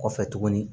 Kɔfɛ tuguni